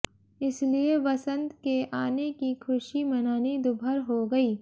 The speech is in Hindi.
इसलिए वसंत के आने की खुशी मनानी दूभर हो गई